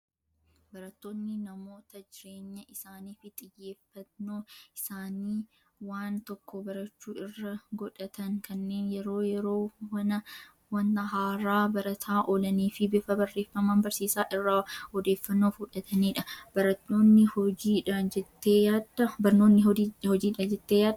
Barattoonni namoota jirrenya isaanii fi xiyyeeffannoo isaanii waan tokko barachuu irra godhatan kanneen yeroo yeroo wana haaraa barataa oolanii fi bifa barreeffamaan barsiisaa irraa odeeffannoo funaananidha. Barnootni hojiidha jettee yaaddaa?